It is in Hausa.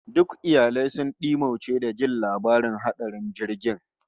Duk iyalai sun dimauce da jin labarin hatsarin jirgin